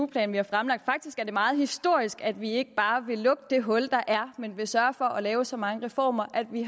plan vi har fremlagt faktisk er det meget historisk at vi ikke bare vil lukke det hul der er men vil sørge for at lave så mange reformer at vi